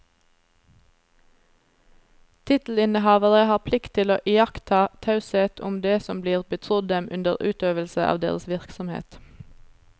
Tittelinnehavere har plikt til å iaktta taushet om det som blir betrodd dem under utøvelse av deres virksomhet.